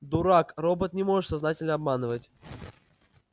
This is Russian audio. дурак робот не может сознательно обманывать